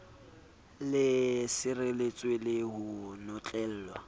le sireletswe le ho notlellwa